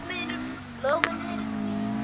Blómin eru hvít.